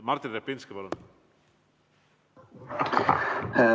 Martin Repinski, palun!